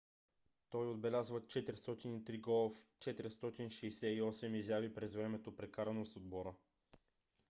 той отбеляза 403 гола в 468 изяви през времето прекарано с отбора